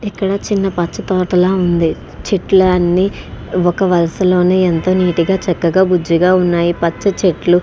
ఇక్కడ చిన్న పచ్చ తోటలా ఉంది. చెట్లు అని ఒక వలసలోనే ఎంత నీటు గా చక్కగా బుజ్జిగా ఉన్నాయి. పచ్చ చెట్లు --